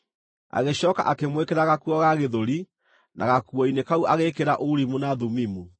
Agĩcooka akĩmwĩkĩra gakuo ga gĩthũri, na gakuo-inĩ kau agĩĩkĩra Urimu na Thumimu.